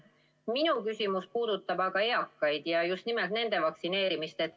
Minu küsimus puudutab aga eakaid ja just nimelt nende vaktsineerimist.